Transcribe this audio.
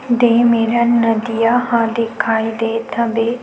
दे मेरन नदीया ह दिखाई देत हवे।